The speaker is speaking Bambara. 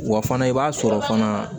Wa fana i b'a sɔrɔ fana